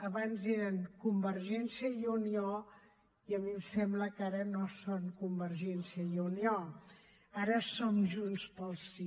abans eren convergència i unió i a mi em sembla que ara no són convergència i unió ara som junts pel sí